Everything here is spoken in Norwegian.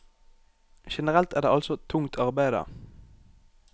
Generelt er det altså tungt arbeide.